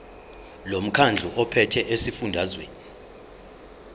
lomkhandlu ophethe esifundazweni